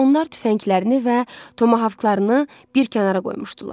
Onlar tüfənglərini və tomahavklarını bir kənara qoymuşdular.